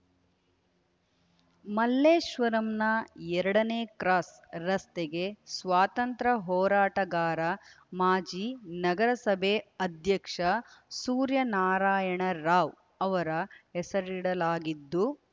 ಮಲ್ಲೇಶ್ವರಂನ ಎರಡನೇ ಕ್ರಾಸ್ ರಸ್ತೆಗೆ ಸ್ವಾತಂತ್ರ ಹೋರಾಟಗಾರ ಮಾಜಿ ನಗರ ಸಭೆ ಅಧ್ಯಕ್ಷ ಸೂರ್ಯನಾರಾಯಣ ರಾವ್ ಅವರ ಹೆಸರಿಡಲಾಗಿದ್ದು